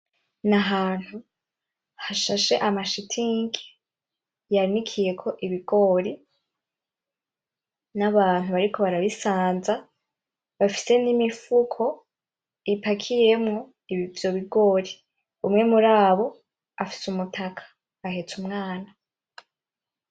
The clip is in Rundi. N'ahantu hashashe amashitingi yanikiyeko Ibigori, n'abantu bariko barabisanza bafise n'Imifuko ipakiyemwo ivyo bigori, umwe murabo afise Umutaka ahetse umwana.